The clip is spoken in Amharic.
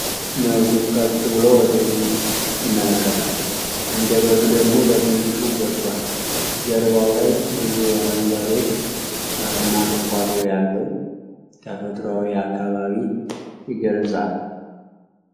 ነብሩ ቀጥ ብሎ ወደ ፊት ይመለከታል፤ አንደበቱ ደግሞ በትንሹ ወጥቷል። ጀርባው ላይ ብዙ አረንጓዴ ሣርና ቁጥቋጦ ያለው ተፈጥሯዊ አካባቢ ይገለጻል።